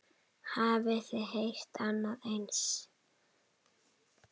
Hafið þið heyrt annað eins?